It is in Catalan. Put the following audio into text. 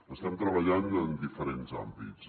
estem treballant en diferents àmbits